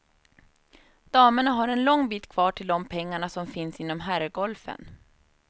Damerna har en lång bit kvar till de pengarna som finna inom herrgolfen.